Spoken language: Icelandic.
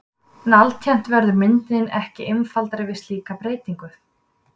En alltént verður myndin ekki einfaldari við slíka breytingu!